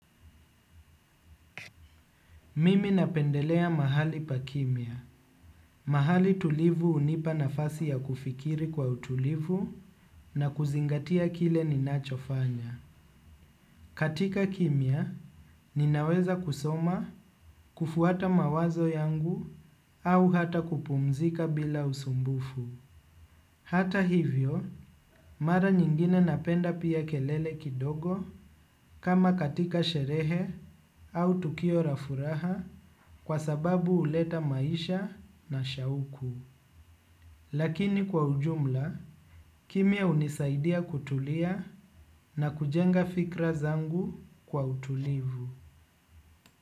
Mimi napendelea mahali pakimya. Mahali tulivu hunipa nafasi ya kufikiri kwa utulivu na kuzingatia kile ninachofanya. Katika kimya, ninaweza kusoma kufuata mawazo yangu au hata kupumzika bila usumbufu. Hata hivyo, mara nyingine napenda pia kelele kidogo kama katika sherehe au tukio la furaha kwa sababu huleta maisha na shauku. Lakini kwa ujumla, kimya hunisaidia kutulia na kujenga fikra zangu kwa utulivu.